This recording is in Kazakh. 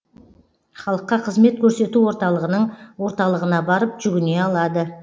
халыққа қызмет көрсету орталығының орталығына барып жүгіне алады